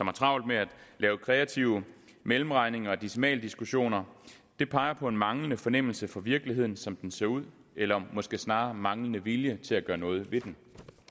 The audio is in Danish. og har travlt med at lave kreative mellemregninger og decimaldiskussioner det peger på en manglende fornemmelse for virkeligheden som den ser ud eller måske snarere en manglende vilje til at gøre noget ved den